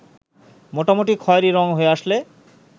মোটামুটি খয়েরি রং হয়ে আসলে